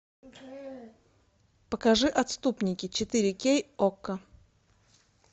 покажи отступники четыре кей окко